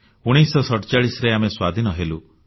1947ରେ ଆମେ ସ୍ୱାଧୀନ ହେଲୁ